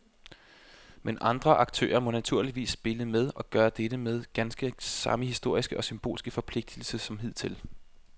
Men andre aktører må naturligvis spille med og gøre dette med ganske samme historiske og symbolske forpligtelse som hidtil.